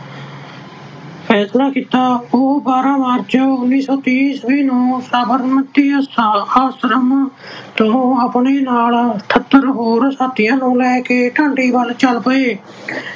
ਫੈਸਲਾ ਕੀਤਾ। ਉਹ ਬਾਰ੍ਹਾਂ ਮਾਰਚ ਉਨੀ ਸੌ ਤੀਹ ਈਸਵੀ ਨੂੰ ਸਾਬਰਮਤੀ ਆਸ਼ਰਮ ਤੋਂ ਅਠਤਰ ਹੋਰ ਸਾਥੀਆਂ ਨੂੰ ਲੈ ਕੇ ਡਾਂਡੀ ਵੱਲ ਚੱਲ ਪਏ।